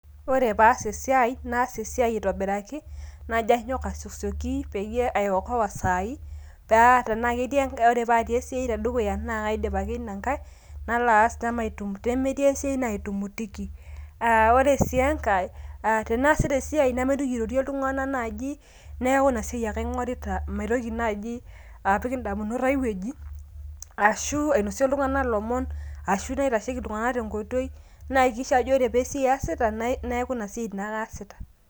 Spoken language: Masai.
Ore paas esiai, naas esiai aitobiraki, najo anyok asiokisioki peyie aiokoa isaai, paa tenetii esiai te dukuya naa kaidip ake ina kai. Nalo aas pee metii esiai naitumutiki. Ore sii enkai, tanaasita sii esiai namaitoki airorie iltung'ana naaji, neaku ina siai ake aing'orita maitoki naaji apik indamunot aai wueji, ashu ainosie iltung'ana ilomon, ashu naitesheki iltungana te nkoitoi, naihakikisha ajo pee esiai iasita neaku ina siai naake aasita.